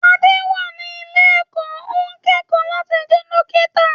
Adé wà ní ilé-ẹ̀kọ́, ó ń kẹ́kọ̀ọ́ láti jẹ́ dókítà.